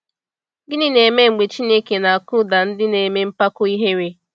Gịnị na-eme mgbe Chineke na-akụda ndị na-eme mpako ihere?